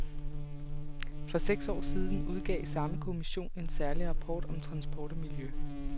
For seks år siden udgav samme kommission en særlig rapport om transport og miljø.